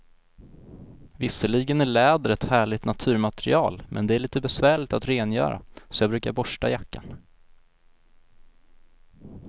Visserligen är läder ett härligt naturmaterial, men det är lite besvärligt att rengöra, så jag brukar borsta jackan.